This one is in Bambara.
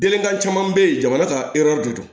Denkan caman be ye jamana ka de do